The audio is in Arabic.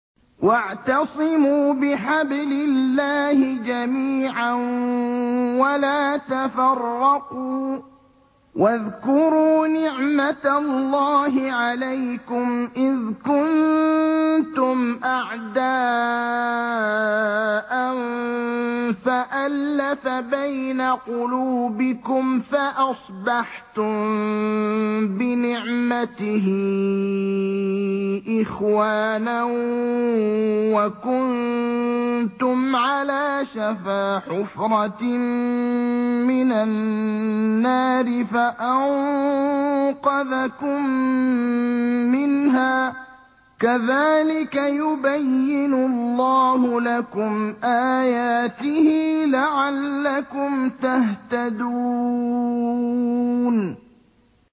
وَاعْتَصِمُوا بِحَبْلِ اللَّهِ جَمِيعًا وَلَا تَفَرَّقُوا ۚ وَاذْكُرُوا نِعْمَتَ اللَّهِ عَلَيْكُمْ إِذْ كُنتُمْ أَعْدَاءً فَأَلَّفَ بَيْنَ قُلُوبِكُمْ فَأَصْبَحْتُم بِنِعْمَتِهِ إِخْوَانًا وَكُنتُمْ عَلَىٰ شَفَا حُفْرَةٍ مِّنَ النَّارِ فَأَنقَذَكُم مِّنْهَا ۗ كَذَٰلِكَ يُبَيِّنُ اللَّهُ لَكُمْ آيَاتِهِ لَعَلَّكُمْ تَهْتَدُونَ